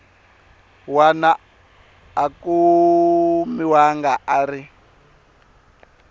wana a kumiwaka a ri